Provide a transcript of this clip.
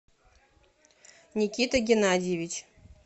никита геннадьевич